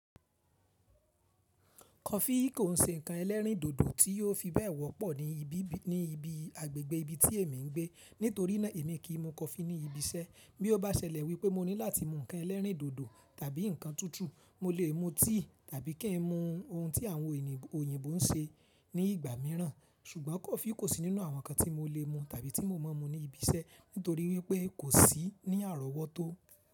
Kọfí kò ń ṣe ǹnkan ẹlẹ́rìndòdò tí ò fi bẹ́ẹ̀ wọ́pọ̀ ní ibi ní ibi agbẹ̀gbẹ̀ ibi tí èmi ń gbé. Nítorí náà èmi kì í mu kọfí ní ibi iṣẹ́. Bí ó bá ṣẹlẹ̀ wípé mo ní láti mu ǹnkan ẹlẹ́rìndòdò tàbí ǹnkan tútù, mo lè mu tíì tàbí kí n mu ohun tí àwọn òyìnbó ń ṣe ní ìgbà mìíràn. Ṣùgbọ́n kọfí kò sí nínú àwọn ǹnkan tí mo lè mu tàbí tí mo mọ̀ mu ní ibi iṣẹ́ nítorí wípé kò sí ní àrọ́wọ́tó.